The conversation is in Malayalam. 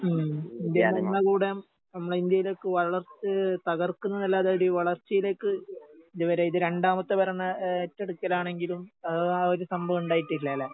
ഉം ഇന്ത്യൻ ഭരണകൂടം നമ്മളെ ഇന്ത്യയിലേക്ക് വളർത്ത് തകർക്കുന്നതല്ലാതെയൊരു വളർച്ചയിലേക്ക് ഇതുവരെ ഇത് രണ്ടാമത്തെ ഭരണ ഏഹ് ഏറ്റെടുക്കലാണെങ്കിലും ആഹ് ആ ഒരു സംഭവം ഉണ്ടായിട്ടില്ലാല്ലേ?